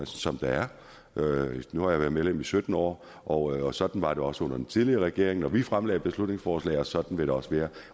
som der er nu har jeg været medlem i sytten år og og sådan var det også under den tidligere regering når vi fremsatte beslutningsforslag og sådan vil det også være